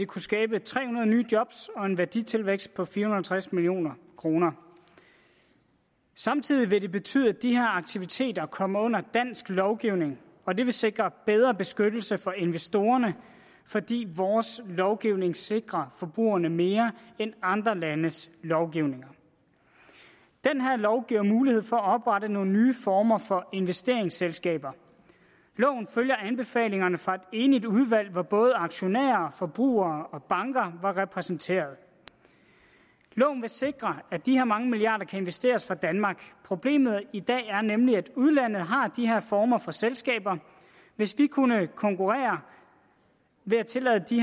kunne skabe tre hundrede nye job og en værditilvækst på fire hundrede og halvtreds million kroner samtidig vil det betyde at de her aktiviteter kommer under dansk lovgivning og det vil sikre bedre beskyttelse for investorerne fordi vores lovgivning sikrer forbrugerne mere end andre landes lovgivning den her lov giver mulighed for at oprette nogle nye former for investeringsselskaber loven følger anbefalingerne fra et enigt udvalg hvor både aktionærer forbrugere og banker var repræsenteret loven vil sikre at de her mange milliarder kan investeres fra danmark problemet i dag er nemlig at udlandet har de her former for selskaber hvis vi kunne konkurrere ved at tillade de